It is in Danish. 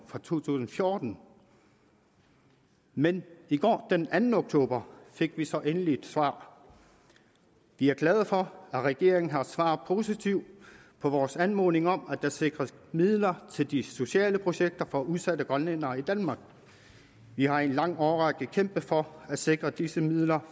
for to tusind og fjorten men i går den anden oktober fik vi så endelig et svar vi er glade for at regeringen har svaret positivt på vores anmodning om at der sikres midler til de sociale projekter for udsatte grønlændere i danmark vi har i en lang årrække kæmpet for at sikre disse midler